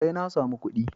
Sai na samu kuɗi.